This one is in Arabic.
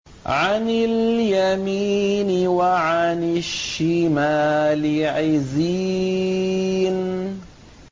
عَنِ الْيَمِينِ وَعَنِ الشِّمَالِ عِزِينَ